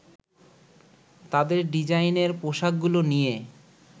তাদের ডিজাইনের পোশাকগুলো নিয়ে